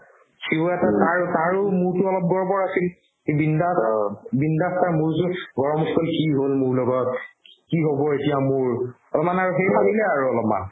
সিও এটা তাৰ তাৰো মূৰতো অলপ গৰবৰ আছিল সি বিন্দাছ বিন্দাছ তাৰ মূৰ-চূৰ গৰম উঠি গ'ল কি হ'ল মোৰ লগত কি হ'ব এতিয়া মোৰ অলপমান আৰু সেই ভাবিলে আৰু অলপ মান